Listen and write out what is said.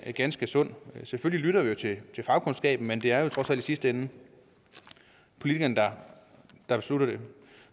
set ganske sundt selvfølgelig lytter vi til til fagkundskaben men det er trods alt i sidste ende politikerne der beslutter det